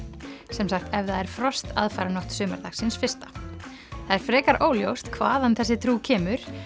sem sagt ef það er frost aðfaranótt sumardagsins fyrsta það er frekar óljóst hvaðan þessi trú kemur